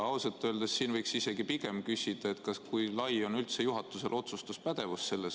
Ausalt öeldes võiks siin pigem küsida, kui lai on üldse sellises olukorras juhatuse otsustuspädevus.